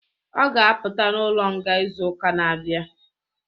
Ọ ga apụta n'ụlo nga izu ụka n'abia